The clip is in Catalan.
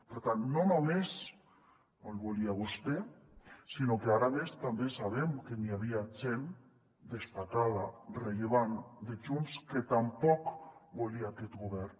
per tant no només no el volia vostè sinó que ara a més també sabem que n’hi havia gent destacada rellevant de junts que tampoc volia aquest govern